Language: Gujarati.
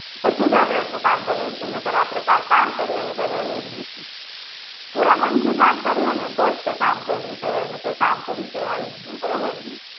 પછી જ આપડે એટલું કામ કરીએ કે આપડે એટલું કામ કરીએ એની કાંઈ value જ નથી પુરા મન થી કામ કરીએ ને તોજ એ કામ કર્યું કેવાય નકર કામ કર્યું કેવાય જ નઈ બરોબર